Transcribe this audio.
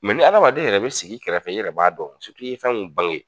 Mɛ ni amaden yɛrɛ bi sigi i kɛrɛfɛ i yɛrɛ b'a dɔn surutu i ye fɛn min bange